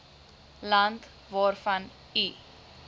land waarvan u